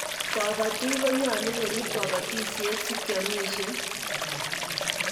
kabatik konyalun korib kabatishiet sikeamishen